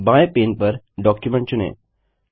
बाएं पैन पर डॉक्यूमेंट चुनें